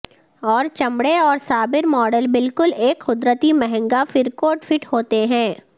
اور چمڑے اور سابر ماڈل بالکل ایک قدرتی مہنگا فر کوٹ فٹ ہوتے ہیں